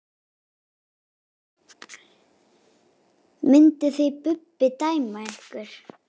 Mynduð þið Bubbi dæma mig?